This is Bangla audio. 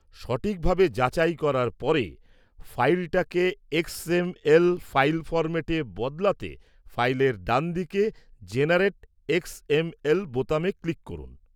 সঠিকভাবে যাচাই করার পরে, ফাইলটাকে এক্সএমএল ফাইল ফরম্যাটে বদলাতে ফাইলের ডানদিকে 'জেনারেট 'এক্সএমএল' বোতামে ক্লিক করুন।